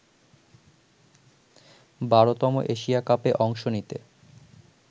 ১২তম Asia কাপে অংশ নিতে